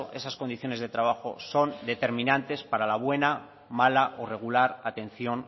esas condiciones de trabajo son determinantes para la buena mala o regular atención